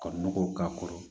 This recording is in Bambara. Ka nɔgɔw k'a kɔrɔ